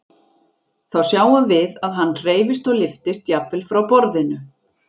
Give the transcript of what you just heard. Þá sjáum við að hann hreyfist og lyftist jafnvel frá borðinu.